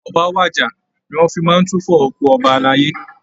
"Ọba wàjà" ni wọ́n fi máa ń túfọ òkú ọba alayé